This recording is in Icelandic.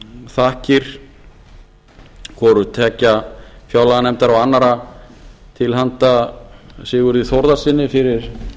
þakkir hvorutveggja fjárlaganefndar og annarra til handa sigurði þórðarsyni fyrir